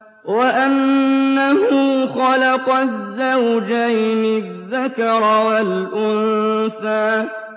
وَأَنَّهُ خَلَقَ الزَّوْجَيْنِ الذَّكَرَ وَالْأُنثَىٰ